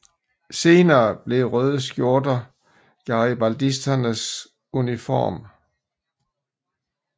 Senere blev røde skjorte garibaldisternes uniform